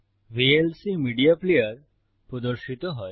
VLC media player প্রদর্শিত হয়